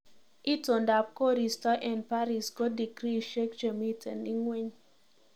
Itondap koristo eng baris ko tikriishek chemiten ingweny